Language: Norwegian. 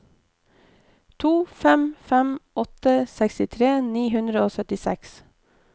to fem fem åtte sekstitre ni hundre og syttiseks